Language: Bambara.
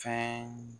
Fɛn